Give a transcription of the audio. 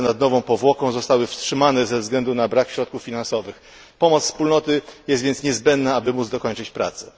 Prace nad nową powłoką zostały wstrzymane ze względu na brak środków finansowych, pomoc Wspólnoty jest więc niezbędna, aby móc dokończyć prace.